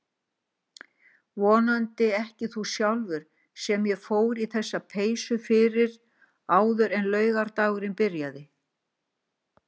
Vonandi ekki þú sjálfur sem ég fór í þessa peysu fyrir áður en laugardagurinn byrjaði.